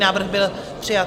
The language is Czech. Návrh byl přijat.